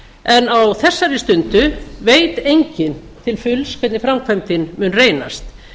en á þessari stundu veit enginn til fulls hvernig framkvæmdin mun reynast